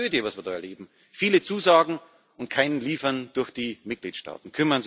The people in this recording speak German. Das ist eine Tragödie, was wir da erleben viele Zusagen und kein Liefern durch die Mitgliedstaaten.